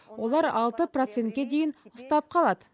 олар алты процентке дейін ұстап қалады